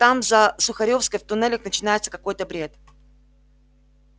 там за сухаревской в туннелях начинается какой-то бред